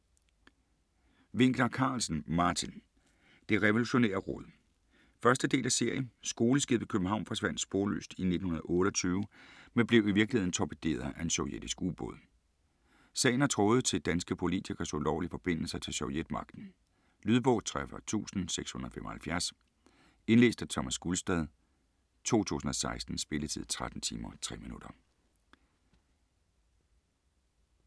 Winckler-Carlsen, Martin: Det Revolutionære Råd 1. del af serie. Skoleskibet København forsvandt sporløst i 1928, men blev i virkeligheden torpederet af en sovjetisk u-båd. Sagen har tråde til danske politikeres ulovlige forbindelser til sovjetmagten. Lydbog 43675 Indlæst af Thomas Gulstad, 2016. Spilletid: 13 timer, 3 minutter.